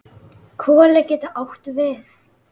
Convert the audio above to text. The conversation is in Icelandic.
Koli getur átt við